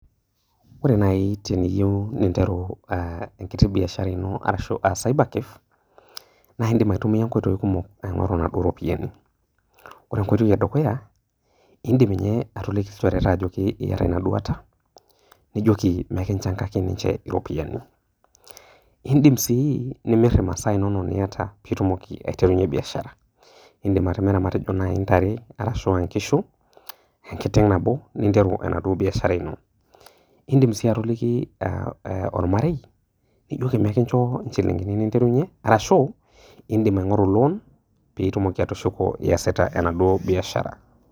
Ore naji teniyieu ninteru enkiti biashara ino arashu a cyber cafe naa indim aitumia nkoitoi kumok atumie iropiyiani. Ore enkoitoi edukuya , indim ninye niliki ilchoreta aliki ajoki iyata ina duata, nijoki pee kinchangaki ninche iropiyiani. Indim sii nimir imasaa inonok niata pitumoki aiterunyie biashara, indim atimira matejo naji ntare, nkishu arashu enkiteng nabo pinteru enaduo biashara ino. Indim sii atoliki ormarei nijoki pee kincho nchilingini ninterunyie , arashu indim aingoru loan pitumoki atushuku iasita enaduo biashara.